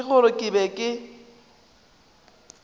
ke gore ke be ke